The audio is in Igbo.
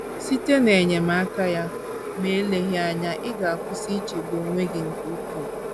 Site n’enyemaka ya, ma eleghị anya ị ga - akwụsị ichegbu onwe gị nke ukwuu.